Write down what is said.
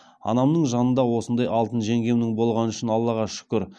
анамның жанында осындаи алтын жеңгемнің болғаны үшін аллаға шүкір